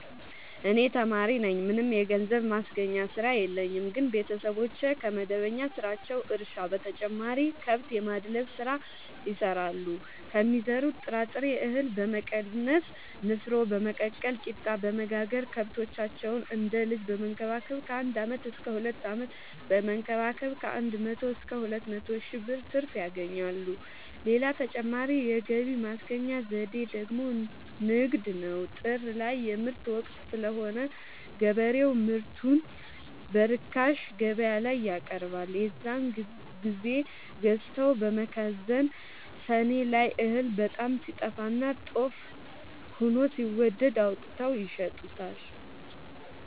እኔ ተማሪነኝ ምንም የገንዘብ ማስገኛ ስራ የለኝም ግን ቤተሰቦቼ ከመደበኛ ስራቸው እርሻ በተጨማሪ ከብት የማድለብ ስራ ይሰራሉ ከሚዘሩት ጥራጥሬ እሀል በመቀነስ ንፋኖ በመቀቀል ቂጣበወጋገር ከብቶቻቸውን እንደ ልጅ በመከባከብ ከአንድ አመት እስከ ሁለት አመት በመንከባከብ ከአንድ መቶ እስከ ሁለት መቶ ሺ ብር ትርፍ ያገኛሉ። ሌላ ተጨማሪ የገቢ ማስገኛ ዘዴ ደግሞ ንግድ ነው። ጥር ላይ የምርት ወቅት ስለሆነ ገበሬው ምርቱን በርካሽ ገበያላይ ያቀርባል። የዛን ግዜ ገዝተው በመከዘን ሰኔ ላይ እህል በጣም ሲጠፋና ጦፍ ሆኖ ሲወደድ አውጥተው ይሸጡታል።